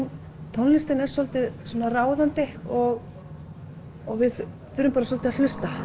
tónlistin er svolítið ráðandi og við þurfum bara svolítið að hlusta